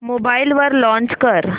mobile वर launch कर